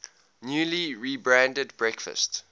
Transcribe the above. newly rebranded breakfast